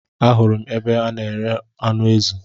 Ahụrụ m ebe a n'ere anụ ezi